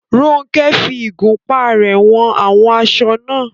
Ronke fi ìgúnpá rẹ̀ wọn àwọn aṣọ náà.